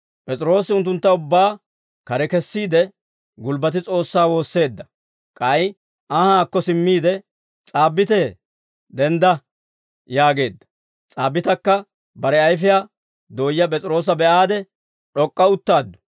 P'es'iroosi unttuntta ubbaa kare kessiide, gulbbati S'oossaa woosseedda; k'ay anhaakko simmiide, «S'aabbitee, dendda» yaageedda; S'aabbitakka bare ayfiyaa dooya P'es'iroosa be'aade, d'ok'k'a uttaaddu.